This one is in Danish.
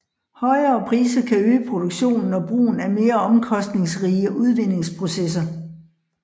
Højere priser kan øge produktionen og brugen af mere omkostningsrige udvindingsprocesser